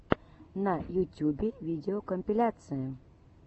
на ютюбе видеокомпиляции